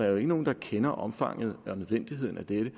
jo ikke nogen der kender omfanget og nødvendigheden af dette